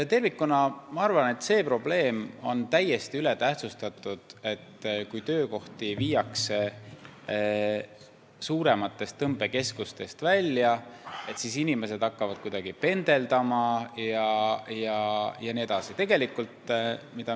Ma arvan, et see probleem on täiesti ületähtsustatud, et kui töökohti viiakse suurematest tõmbekeskustest välja, et siis inimesed hakkavad kuidagi pendeldama jne.